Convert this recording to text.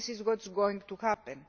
do this is what is going to happen.